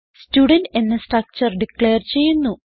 student എന്ന structure declare ചെയ്യുന്നു